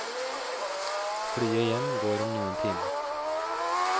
Flyet hjem går om noen timer.